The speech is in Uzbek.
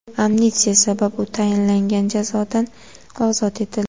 Amnistiya sabab, u tayinlangan jazodan ozod etildi.